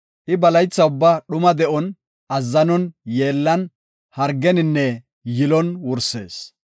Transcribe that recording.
I ba laytha ubbaa dhuma de7on, azzanon, yeellan, hargeninne yilon wursees.